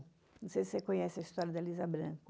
Não sei se você conhece a história da Elisa Branco.